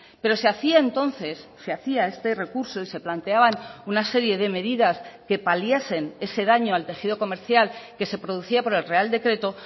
pero se hacía entonces se hacía este recurso y se planteaban una serie de medidas que paliasen ese daño al tejido comercial que se producía por el real decreto